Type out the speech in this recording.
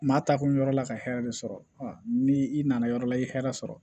Maa taakun yɔrɔ la ka hɛrɛ de sɔrɔ ni i nana yɔrɔ la i ye hɛrɛ sɔrɔ